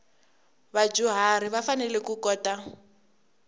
vadyuharhi va fanele ku kota